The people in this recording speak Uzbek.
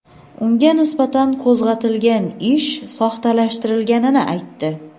unga nisbatan qo‘zg‘atilgan ish soxtalashtirilganini aytdi.